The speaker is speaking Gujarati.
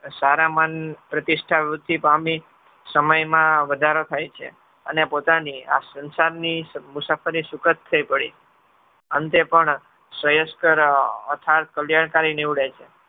સારા મન પ્રતિસ્થવૃદ્ધિ પામી સમયમાં વધારો થાય છે. અને પોતાની આ સંસારની મુસાફરી સુકત થઈ પડી અંતે પણ કલ્યાણકારી નીવડે છે.